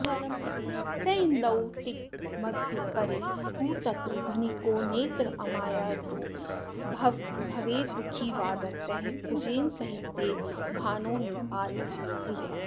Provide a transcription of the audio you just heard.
सेन्दौ तिग्मकरे तु तत्र धनिको नेत्रामयार्त्तो भवेद् दुःखी वादरतः कुजेन सहिते भानौ नृपालप्रियः